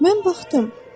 Mən baxdım.